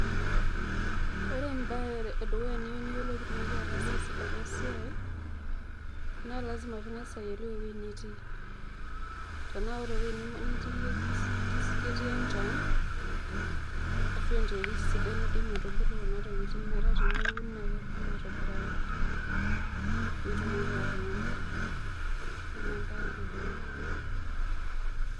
ore embae edukuya niyieu niyiolou pitumoki ataasa ena siai naa lazima pingas ayiolou ewuei nitii tenaa ore ewuei nitii iyie kis ketii enchan ashuaa enterit sidai naidim aitubulu kuna tokitin metaa tiniun naa kebulu aitobiraki pitumoki atuuno . ina embae edukuya.